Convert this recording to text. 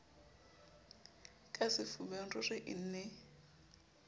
ka sefubeng ruri e ne